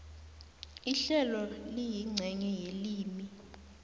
ihlelo liyincenye yelimi